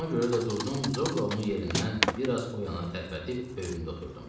Ona görə də durdum, zorla onu yerindən bir az o yana tərpədib böyüründə oturdum.